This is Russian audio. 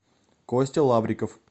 костя лавриков